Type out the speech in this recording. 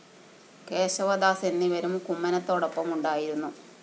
കേശവദാസ് എന്നിവരും കുമ്മനത്തോടൊപ്പം ഉണ്ടായിരുന്നു